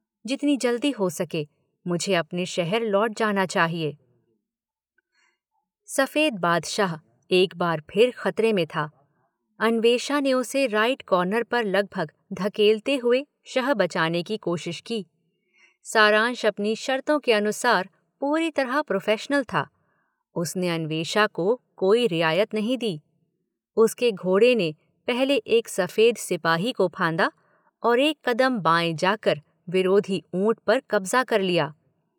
जितनी जल्दी हो सके मुझे अपना शहर लौट जाना चाहिए। सफेद बादशाह एक बार फिर खतरे में था, अन्वेषा ने उसे राइट कार्नर पर लगभग धकेलते हुए शह बचाने की कोशिश की। सारांश अपनी शर्तों के अनुसार पूरी तरह प्रोफेशनल था। उसने अन्वेषा को कोई रियायत नहीं दी। उसके घोड़े ने पहले एक सफेद सिपाही को फाँदा और एक कदम बाएँ जाकर विरोधी ऊंट पर कब्जा कर लिया।